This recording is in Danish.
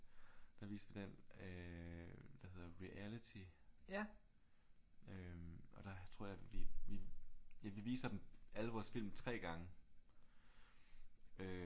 Der viste vi den der hedder Reality og der tror jeg vi ja vi viser alle vores film 3 gange og øh